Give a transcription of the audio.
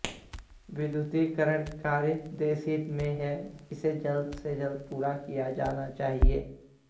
विद्युतीकरण कार्य देशहित में है इसे जल्द से जल्द पूरा किया जाना चाहिए